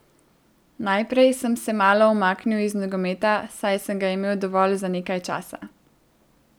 Najprej sem se malo umaknil iz nogometa, saj sem ga imel dovolj za nekaj časa.